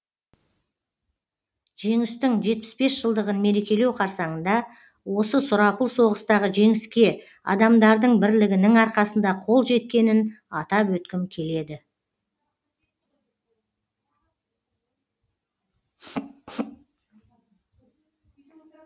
жеңістің жетпіс бес жылдығын мерекелеу қарсаңында осы сұрапыл соғыстағы жеңіске адамдардың бірлігінің арқасында қол жеткенін атап өткім келеді